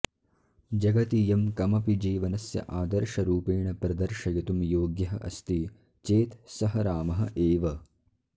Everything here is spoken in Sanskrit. जगति यं कमपि जीवनस्य आदर्शरूपेण प्रदर्शयितुं योग्यः अस्ति चेत् सः रामः एव